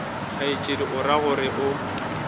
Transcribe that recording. kgaetšedi o ra gore o